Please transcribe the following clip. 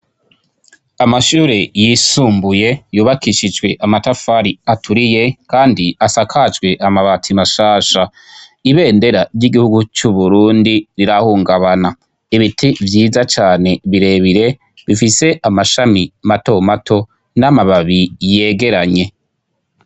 Amashure yisumbuye yubakishijwe amatafari aturiye kandi asakajwe amabati mashasha, ibendera ry'igihugu c'u Burundi rirahungabana, ibiti vyiza cane birebire bifise amashami mato mato n'amababi yegeranye.